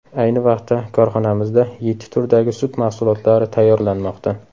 Ayni vaqtda korxonamizda yetti turdagi sut mahsulotlari tayyorlanmoqda.